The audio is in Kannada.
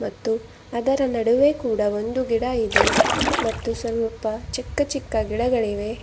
ಮತ್ತು ಅದರ ನಡುವೆ ಕೂಡ ಒಂದು ಗಿಡ ಇದೆ ಮತ್ತು ಸ್ವಲ್ಪ ಚಿಕ್ಕ ಚಿಕ್ಕ ಗಿಡಗಳಿವೆ.